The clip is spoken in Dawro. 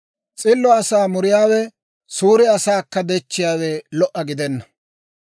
S'illo asaa muriyaawe, suure asaakka dechchiyaawe lo"a gidenna.